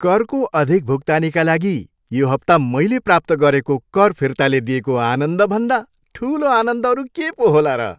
करको अधिक भुक्तानीका लागि यो हप्ता मैले प्राप्त गरेको कर फिर्ताले दिएको आनन्दभन्दा ठुलो आनन्द अरू के पो होला र।